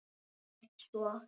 Ekkert svo.